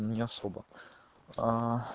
не особо аа